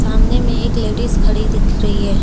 सामने में एक लेडिस खड़ी दिख रही है।